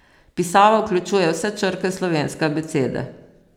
Pisava vključuje vse črke slovenske abecede.